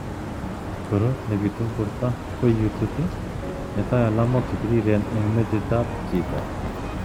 Korot nepitu ing porto ko iututi, metoi alamok chepiriren eng metit ap chito.